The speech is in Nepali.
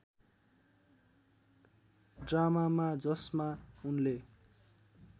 ड्रामामा जसमा उनले